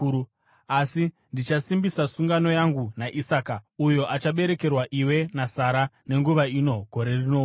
Asi ndichasimbisa sungano yangu naIsaka, uyo achaberekerwa iwe naSara nenguva ino gore rinouya.”